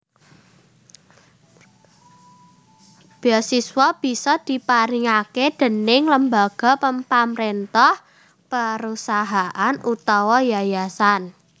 Beasiswa bisa diparingake déning lembaga pamrentah perusahaan utawa yayasan